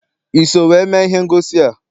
I so wee mee ihe ngosi a?